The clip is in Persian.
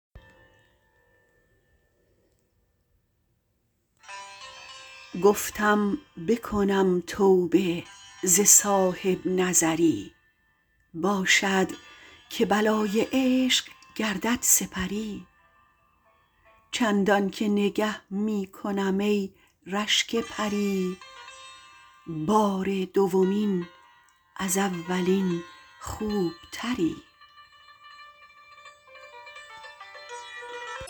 گفتم بکنم توبه ز صاحبنظری باشد که بلای عشق گردد سپری چندانکه نگه می کنم ای رشک پری بار دومین از اولین خوبتری